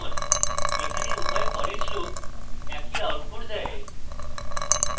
এখানে উভয় foreach loops একই output দেয়